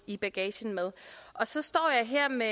i bagagen så står jeg her med